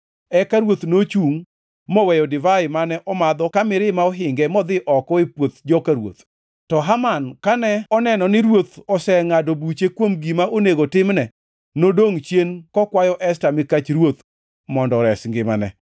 Eka ruoth nochungʼ moweyo divai mane omadho ka mirima ohinge modhi oko e puoth joka ruoth. To Haman, kane oneno ni ruoth osengʼado buche kuom gima onego timne, nodongʼ chien kokwayo Esta mikach ruoth mondo ores ngimane.